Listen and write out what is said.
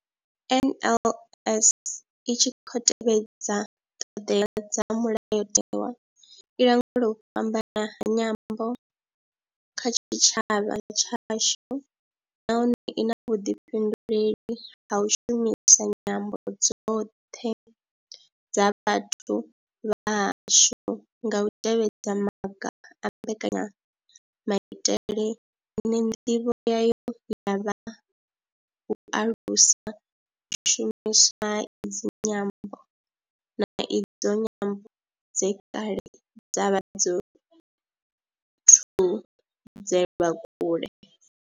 NLS I tshi khou tevhedza ṱhodea dza Mulayotewa, i langula u fhambana ha nyambo kha tshitshavha tshashu nahone I na vhuḓifhinduleli ha u shumisa nyambo dzoṱhe dza vhathu vha hashu nga u tevhedza maga a mbekanyamaitele ine ndivho yayo ya vha u alusa u shumiswa ha idzi nyambo, na idzo nyambo dze kale dza vha dzo thudzelwa kule.